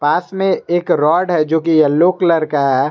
पास में एक रॉड है जो की येलो कलर का है।